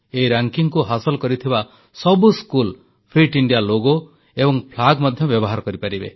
ଏହି ର୍ୟାଙ୍କିଙ୍ଗକୁ ହାସଲ କରିଥିବା ସବୁ ସ୍କୁଲ ଫିଟ ଇଣ୍ଡିଆ ଲୋଗୋ ଏବଂ ପତାକା ମଧ୍ୟ ବ୍ୟବହାର କରିପାରିବେ